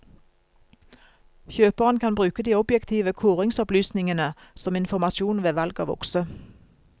Kjøperen kan bruke de objektive kåringsopplysningene som informasjon ved valg av okse.